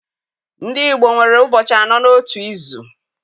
Ndị Igbo nwere ụbọchị anọ n'otu izu.